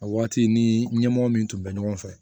A waati ni ɲɛmɔgɔ min tun bɛ ɲɔgɔn fɛ